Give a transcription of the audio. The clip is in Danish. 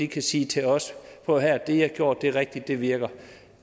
kan sige til os prøv at høre det i har gjort er rigtigt det virker